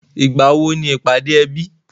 Ìgbàwo ni ìpàdé ẹbí?